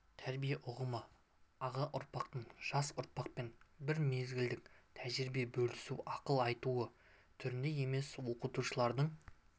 тәрбие ұғымы аға ұрпақтың жас ұрпақпен бір мезгілдік тәжірибе бөлісуі ақыл айтуы түрінде емес оқытушылардың